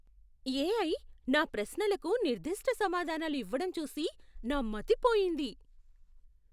AI నా ప్రశ్నలకు నిర్దిష్ట సమాధానాలు ఇవ్వడం చూసి నా మతి పోయింది.